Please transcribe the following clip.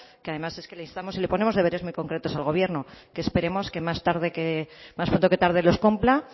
que además es que le instamos y le ponemos deberes muy concretos al gobierno que esperemos que más pronto que tarde los cumpla